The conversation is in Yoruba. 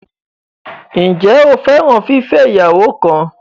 Ǹjẹ́ o fẹ́ràn fífẹ́ ìyàwó kan?